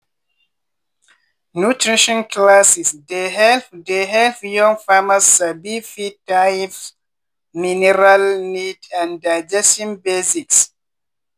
nutrition classes dey help dey help young farmers sabi feed types mineral need and digestion basics.